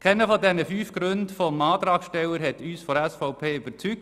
Keiner der fünf Gründe des Antragstellers hat uns seitens der SVP überzeugt.